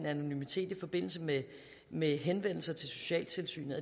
anonymitet i forbindelse med med henvendelser til socialtilsynet